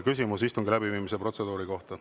Küsimus istungi läbiviimise protseduuri kohta.